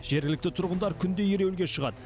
жергілікті тұрғындар күнде ереуілге шығады